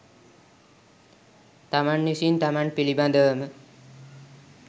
තමන් විසින් තමන් පිළිබඳවම